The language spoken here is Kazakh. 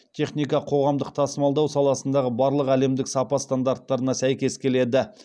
техника қоғамдық тасымалдау саласындағы барлық әлемдік сапа стандарттарына сәйкес келеді